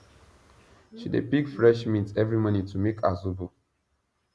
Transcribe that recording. she dey pick fresh mint every morning to make her zobo